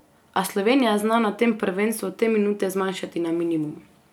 A Slovenija zna na tem prvenstvu te minute zmanjšati na minimum.